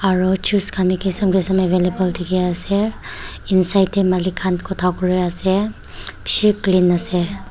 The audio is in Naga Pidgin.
aru juice khan bi kisan kisan available dikhi ase inside te malik khan kotha kuri ase bishi clean ase.